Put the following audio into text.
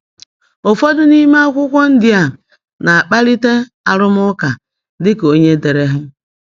Ụfọdụ n’ime akụkọ ndị a na-akpalite arụmụka dị ka onye dere ha.